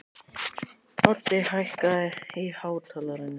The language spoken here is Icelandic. Oddi, hækkaðu í hátalaranum.